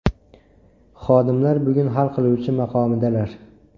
Xodimlar bugun hal qiluvchi maqomidalar!